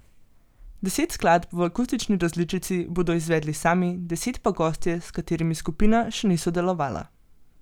Deset skladb v akustični različici bodo izvedli sami, deset pa gostje, s katerimi skupina še ni sodelovala.